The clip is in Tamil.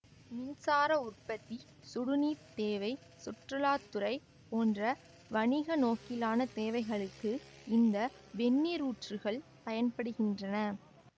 மின்சார உற்பத்தி சுடுநீர்த் தேவை சுற்றுலா துறை போன்ற வணிகநோக்கிலான தேவைகளுக்கு இந்த வெந்நீரூற்றுக்கள் பயன்படுகின்றன